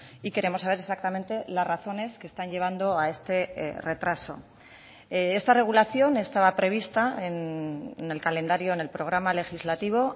y queremos saber exactamente las razones que están llevando a este retraso esta regulación estaba prevista en el calendario en el programa legislativo